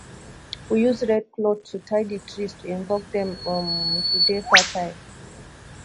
we use red cloth to tie di trees to invoke dem um to dey fertile